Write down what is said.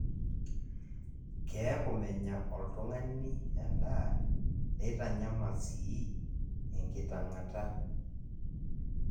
keeku menya olltungani edaa neitanyaml sii enkitang'ata